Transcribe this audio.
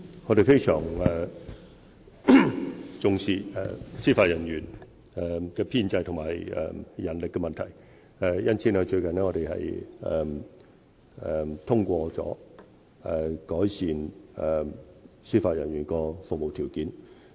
我們非常重視司法人員的編制和人力問題，因此最近已通過改善司法人員的服務條件。